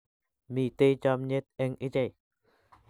Mitei chomnyet eng ichei